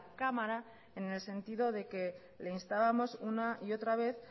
cámara en el sentido de que le instábamos una y otra a vez